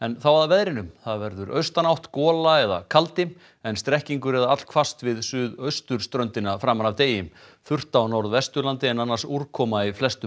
þá að veðri það verður austanátt gola eða kaldi en strekkingur eða allhvasst við suðausturströndina framan af degi þurrt á Norðvesturlandi en annars úrkoma í flestum